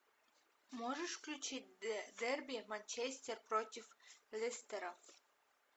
можешь включить дерби манчестер против лестера